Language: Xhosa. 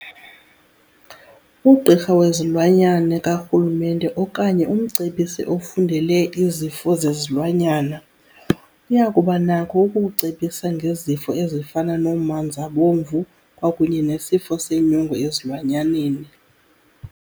Ughirha wezilwanyane kaRulumente okanye umcebisi ofundele izifo zezilwanyana, uyakubanakho ukukucebisa ngezifo ezifana nomanzabomvu kwakunye nesifo senyongo ezilwanyaneni.